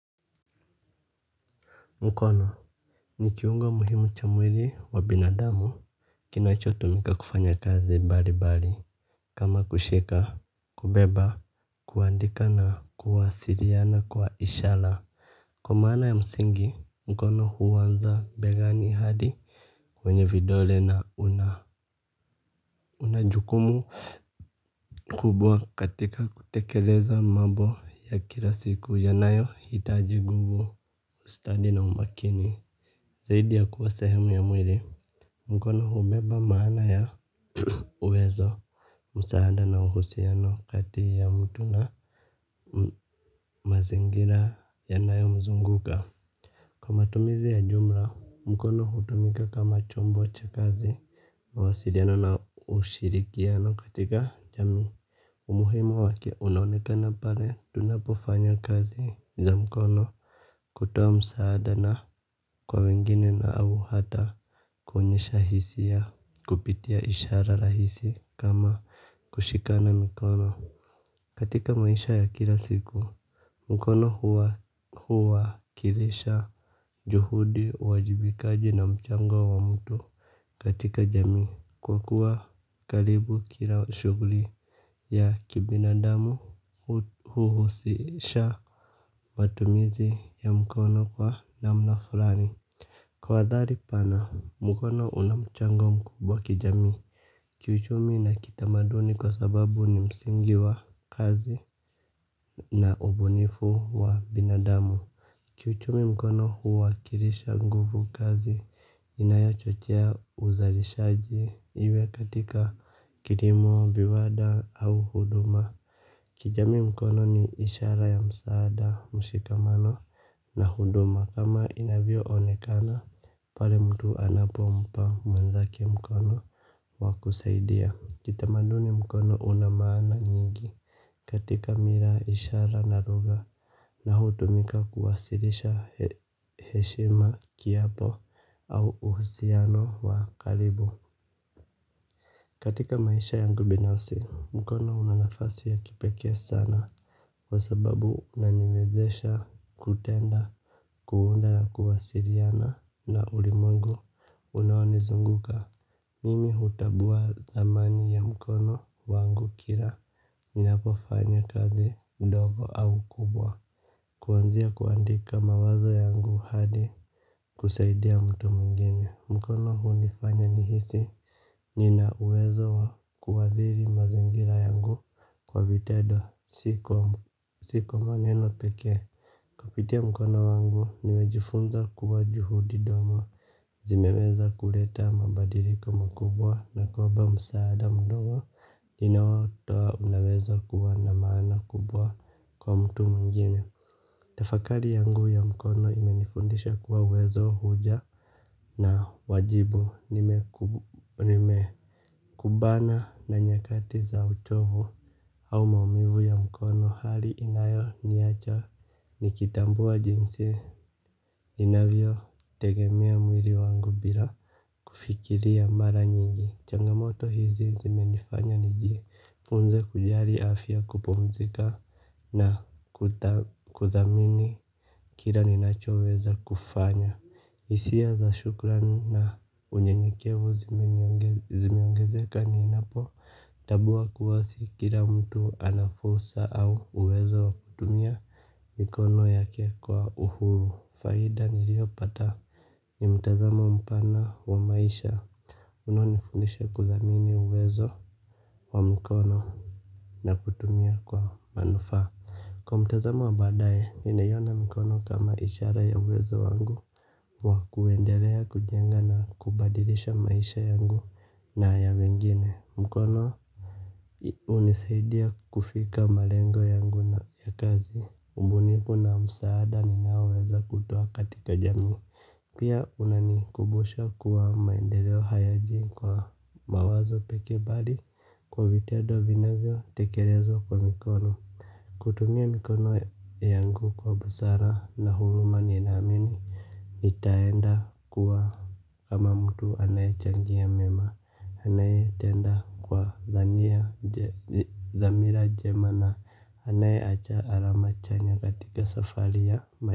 Mkono ni kiungo muhimu cha mwili wa binadamu. Kinachotumika kufanya kazi mbali mbali. Kama kushika Kubeba Kuandika na kuwasiliana kwa ishara. Kwa maana ya msingi mkono huanza begani hadi kwenye vidole na una una jukumu kubwa katika kutekeleza mambo ya kila siku yanayo hitaji nguvu ustadi na umakini. Zaidi ya kuwa sehemu ya mwili mkono hubeba maana ya uwezo. Msaada na uhusiano kati ya mtu na mazingira yanayomzunguka. Kwa matumizi ya jumla mkono hutumika kama chombo cha kazi mawasiliano na ushirikiano katika jamii. Umuhimu wake unaonekana pale tunapofanya kazi za mkono. Kutoa msaada na kwa wengine na au hata kuonyesha hisia kupitia ishara rahisi kama kushikana mikono. Katika maisha ya kila siku mkono huwakilisha juhudi uwajibikaji na mchango wa mtu. Katika jamii kwa kuwa karibu kila shughuli ya kibinadamu Huhusisha Matumizi ya mkono kwa damu na fulani kwa athari pana mkono una mchango mkubwa kijamii. Kiuchumi na kitamaduni kwa sababu ni msingi wa kazi na ubunifu wa binadamu. Kiuchumi mkono huwakilisha nguvu kazi inayochochea uzalishaji iwe katika kilimo, viwanda au huduma. Kijamii mkono ni ishara ya msaada mshikamano. Na huduma kama inavyo onekana pale mtu anapo mpa mwenzake mkono wa kusaidia kitamaduni mkono una maana nyingi. Katika mila ishara na lugha na hutumika kuwasilisha heshima kiapo au uhusiano wa karibu. Katika maisha yangu binafsi mkono una nafasi ya kipekee sana. Kwa sababu unaniwezesha kutenda kuunda na kuwasiliana na ulimwengu unaonizunguka. Mimi hutambua thamani ya mkono wangu kila ninapofanya kazi ndogo au kubwa kuanzia kuandika mawazo yangu hadi kusaidia mtu mwingine. Mkono hunifanya nihisi nina uwezo wa kuathiri mazingira yangu kwa vitendo si kwa maneno pekee. Kupitia mkono wangu, nimejifunza kuwa juhudi ndogo, zimeweza kuleta mabadiliko makubwa na kwamba msaada mdogo, ninaotoa unaweza kuwa na maana kubwa kwa mtu mwingine. Tafakari yangu ya mkono imenifundisha kuwa uwezo huja na wajibu nime kumbana na nyakati za uchovu au maumivu ya mkono hali inayo niacha. Nikitambua jinsi ninavyo tegemea mwili wangu bila kufikiria mara nyingi, changamoto hizi zime nifanya niji funze kujali afya kupumzika na kudhamini kile ninachoweza kufanya hisia za shukrani na unyenyekevu zimeongezeka ninapo tambua kuwa si kila mtu ana fursa au uwezo wa kutumia mikono yake kwa uhuru. Faida niliyopata ni mtazamo mpana wa maisha unao nifundisha kudhamini uwezo wa mkono na kutumia kwa manufaa. Kwa mtazamo wa baadae, ninaiona mkono kama ishara ya uwezo wangu wa kuendelea, kujenga na kubadilisha maisha yangu na ya wengine. Mkono hunisaidia kufika malengo yangu na ya kazi ubunifu na msaada ninaoweza kuutuoa katika jamii. Pia unanikumbosha kuwa maendeleo hayaji kwa mawazo pekee bali kwa vitendo vina vyo tekelezwa kwa mikono. Kutumia mikono yangu kwa busara na huruma ninaamini nitaenda kuwa kama mtu anaye changia mema anaye tenda kwa dhania dhamira jema na anaye acha alama chanya katika safari ya.